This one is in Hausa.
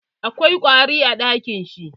Akwai ƙwari a ɗakin shi.